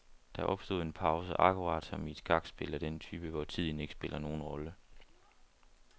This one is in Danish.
Der opstod en pause, akkurat som i et skakspil af den type, hvor tiden ikke spiller nogen rolle.